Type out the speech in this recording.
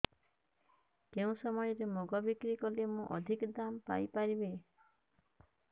କେଉଁ ସମୟରେ ମୁଗ ବିକ୍ରି କଲେ ମୁଁ ଅଧିକ ଦାମ୍ ପାଇ ପାରିବି